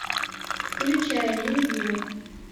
включай нелюбимый